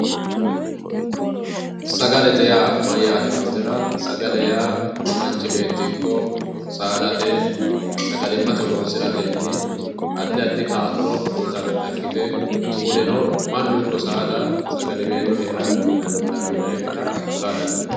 Sagalete yaa nayyate yittatera, sagale yaa manchi beetti ikko saadate sagalimate horonsiratenni addi addi kaa'lo uyitanotta ikkite kunino mannu ikko saada sgaliwello heera dandiinannikkitta ku'la dandiittano.